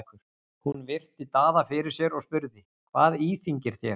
Hún virti Daða fyrir sér og spurði:-Hvað íþyngir þér?